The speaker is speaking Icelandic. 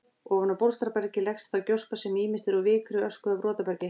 Ofan á bólstrabergið leggst þá gjóska sem ýmist er úr vikri, ösku eða brotabergi.